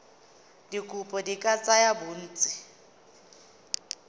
dikopo di ka tsaya bontsi